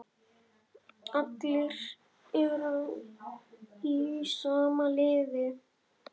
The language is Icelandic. Allir eru í sama liði.